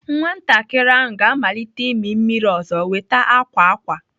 Nwatakịrị ahụ ga-amalite imi mmiri ọzọ nweta akwa akwa.